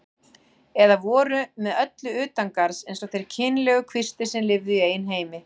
Eða voru með öllu utangarðs eins og þeir kynlegu kvistir sem lifðu í eigin heimi.